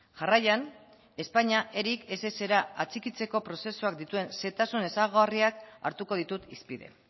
jarraian espainia eric essra atxikitzeko prozesuak dituen xehetasun ezaugarriak hartuko ditut hizpide